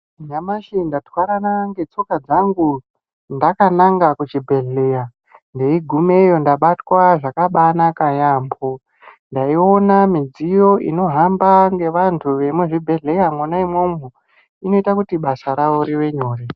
Nyamashi ndatwarana ngetsoka dzangu ndakananga kuchibhedheya, ndeigumeyo ndabatwa zvakabaanaka yaambho, ndaiona midziyo inohamba ngevanthu vemuzvibhedhleya mwona umomo inoita kuti basa ravo rive nyore.